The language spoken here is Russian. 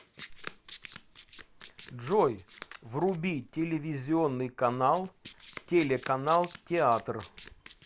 джой вруби телевизионный канал телеканал театр